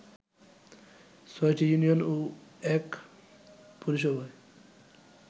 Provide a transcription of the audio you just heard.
৬টি ইউনিয়ন ও ১ পৌরসভায়